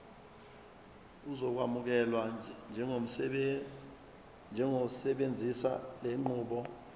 uzokwamukelwa njengosebenzisa lenqubo